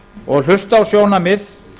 og hlusta á sjónarmið